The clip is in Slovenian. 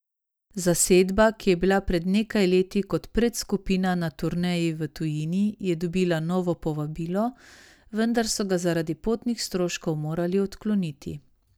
Zasedba, ki je bila pred nekaj leti kot predskupina na turneji v tujini, je dobila novo povabilo, vendar so ga zaradi potnih stroškov morali odkloniti.